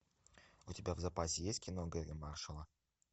у тебя в запасе есть кино гэрри маршалла